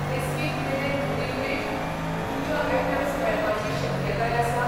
This week मेरेन beverage, puja items मेळपाची शक्यताय आसा ?